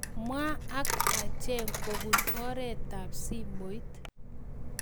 Mwa ak achek kopun oretab simoit